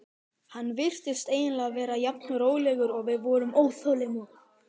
Hann virtist eiginlega vera jafn rólegur og við vorum óþolinmóð.